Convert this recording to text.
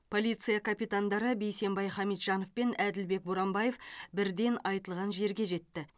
полиция капитандары бейсенбай хамитжанов пен әділбек боранбаев бірден айтылған жерге жетті